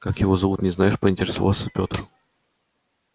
как его зовут не знаешь поинтересовался петр